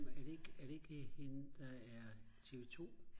er det ikke hende der er tv2